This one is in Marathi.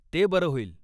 ते बरं होईल.